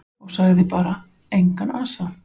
Og sagði bara: Engan asa.